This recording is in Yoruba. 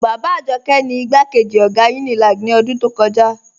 Baba Ajọkẹ ni igbakeji ogá Unilag ni odún tó kọja.